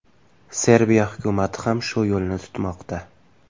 Serbiya hukumati ham shu yo‘lni tutmoqda.